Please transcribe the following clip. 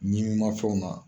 Ɲimin mafɛnw na